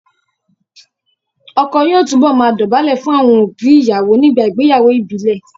Ọkọ yóò túbọ̀ máa dọ̀bálẹ̀ fún àwọn òbí ìyàwó nígbà ìgbéyàwó ìbílẹ̀